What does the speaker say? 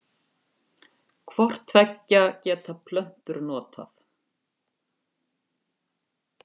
Hvort tveggja geta plöntur notað.